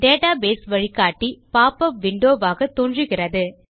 database வழிகாட்டி pop up windowவாக தோன்றுகிறது